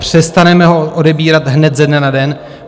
Přestaneme ho odebírat hned ze dne na den?